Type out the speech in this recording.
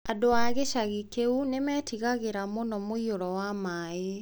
Aikari a gĩcagi kĩu nĩ meetigagĩra mũno mũiyũro wa maĩ.